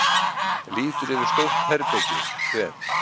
Lítur yfir stórt herbergið, kveð